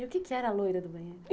E o que é que era a loira do banheiro?